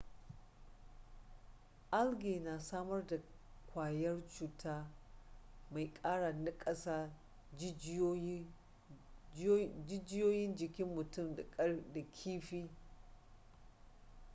algae na samar da kwayar cuta mai kara nakasa jijiyoyin jikin mutum da kifi